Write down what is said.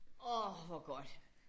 Orh hvor godt